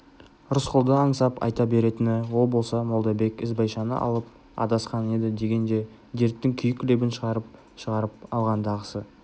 рысқұлды аңсап айта беретіні ол болса молдабек ізбайшаны алып адасқан еді деген де дерттің күйік лебін шығарып-шығарып алғандағысы